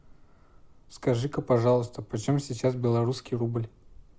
скажи ка пожалуйста почем сейчас белорусский рубль